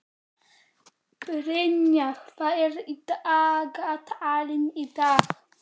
Brynjar, hvað er í dagatalinu í dag?